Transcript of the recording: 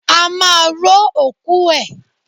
A máa ró òkú ẹ̀.